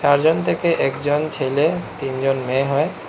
চারজন থেকে একজন ছেলে তিনজন মেয়ে হয়।